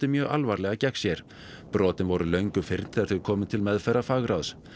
mjög alvarlega gegn sér brotin voru löngu fyrnd þegar þau komu til meðferðar fagráðs